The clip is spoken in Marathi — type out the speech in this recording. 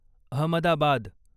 अहमदाबाद